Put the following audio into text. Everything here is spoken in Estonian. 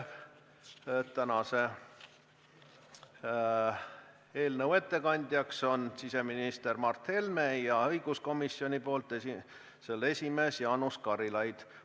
Tänase eelnõu ettekandja on siseminister Mart Helme ja õiguskomisjoni nimel teeb ettekande komisjoni esimees Jaanus Karilaid.